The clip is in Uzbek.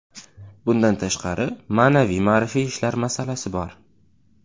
Bundan tashqari, ma’naviy-ma’rifiy ishlar masalasi bor.